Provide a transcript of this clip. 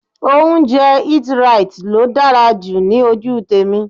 Oúnjẹ Eat-right ló dára jù ní ojú tèmi.